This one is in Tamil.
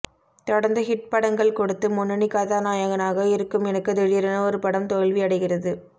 தொடர்ந்து ஹிட் படங்கள் கொடுத்து முன்னணி கதாநாயகனாக இருக்கும் எனக்கு திடீரென ஒரு படம் தோல்வி அடைகிறது